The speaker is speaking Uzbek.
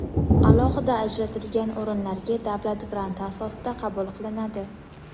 alohida ajratilgan o‘rinlarga davlat granti asosida qabul qilinadi.